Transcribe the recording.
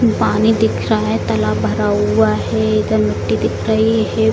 पानी दिख रहा है तालाब भरा हुआ है इधर मिट्टी दिख रही है।